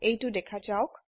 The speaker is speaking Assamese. এইটো দেখা যাওক